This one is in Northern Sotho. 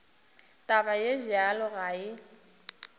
taba ye bjalo ga e